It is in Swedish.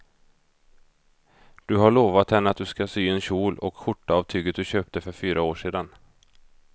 Du har lovat henne att du ska sy en kjol och skjorta av tyget du köpte för fyra år sedan.